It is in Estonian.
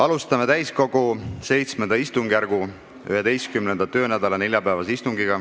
Alustame täiskogu VII istungjärgu 11. töönädala neljapäevast istungit.